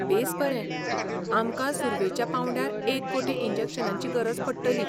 बेस बरें , आमकां सुर्वेच्या पांवड्यार एक कोटी इंजेक्शनांची गरज पडटली.